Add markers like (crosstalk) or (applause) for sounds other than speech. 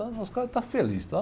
(unintelligible) Os caras estão felizes, tá?